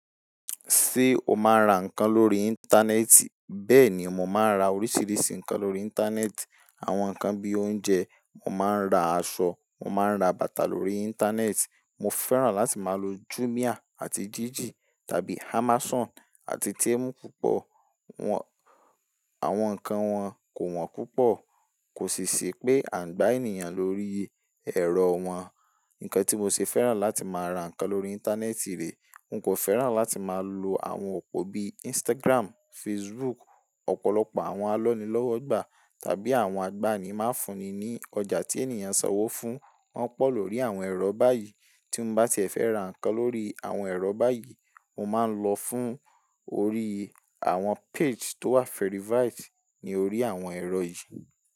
Ṣé o máa ń ra nǹkan lórí Íńtánẹ́ẹ̀tì? Bẹ́ẹ̀ ni, mo máa ń ra oríṣìíríṣìí nǹkan lórí Íńtánẹ́ẹ̀tì. Àwọn nǹkan bí i oúnjẹ, mo máa ń ra aṣọ, mo máa ń ra bàtà lórí Íńtánẹ́ẹ̀tì. Mo fẹ́ràn láti máa lo Jumia àti Jiji tàbí Amazon àti Temu púpọ̀. Wọ́n, àwọn nǹkan wọn kò wọ́n púpọ̀ọ kò sì sì pé à ń gba ènìyàn lórí ẹ̀rọ wọn. Nǹkan tí mo ṣe fẹ́ràn láti máa ra nǹkan lórí Íńtánẹ́ẹ̀tì rè, n kò fẹ́ràn láti máa lo àwọn òpó bí i Instagramu, Fasbuku. Ọ̀pọ̀lọpọ̀ àwọn alọ́nilọ́wọ́gbà tàbí àwọn agbani máa ń fúnni ní ọjà tí ènìyàn sanwó fún. Wọ́n pọ̀ lórí àwọn ẹ̀rọ báyìí. Tí mo bá ti fẹ́ ra nǹkan lórí àwọn ẹ̀rọ báyìí, mo máa ń lọ fún orí àwọn peji tó wà verified ní orí àwọn ẹ̀rọ yìí.